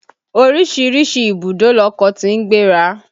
Oríṣiríṣi ìbùdó lọkọ̀ tí ń gbéra.